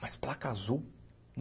Mas placa azul?